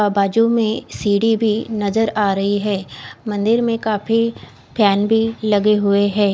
बाजु में सीडी भी नजर आ रही है अम्न्दिर में काफी फेन भी लगे हुए है।